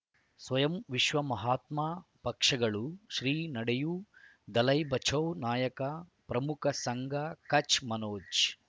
ಸ್ವಯಂ ವಿಶ್ವ ಮಹಾತ್ಮ ಪಕ್ಷಗಳು ಶ್ರೀ ನಡೆಯೂ ದಲೈ ಬಚೌ ನಾಯಕ ಪ್ರಮುಖ ಸಂಘ ಕಚ್ ಮನೋಜ್